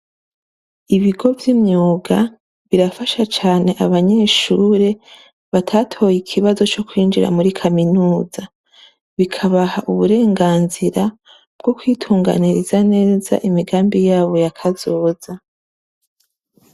Ibigo vy’imyuga ,birafasha cane abanyeshure batatoye ikibazo co kwinjira muri kaminuza. Bikabaha uburenganzira ,bwo kwitunganiriza imigambi yabo ya Kazoza.